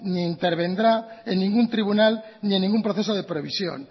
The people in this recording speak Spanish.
ni intervendrá en ningún tribunal ni en ningún proceso de previsión